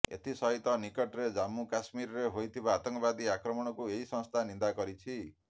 ଏଥିସହିତ ନିକଟରେ ଜମ୍ମୁ କଶ୍ମୀରରେ ହୋଇଥିବା ଆତଙ୍କବାଦୀ ଆକ୍ରମଣକୁ ଏହି ସଂସ୍ଥା ନିନ୍ଦା କରିଛି